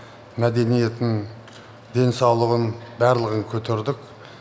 мәдениетін денсаулығын барлығын көтердік